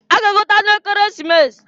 A ga-egote anụ Ekeresimesi.